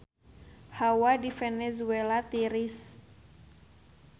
Hawa di Venezuela tiris